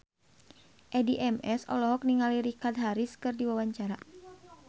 Addie MS olohok ningali Richard Harris keur diwawancara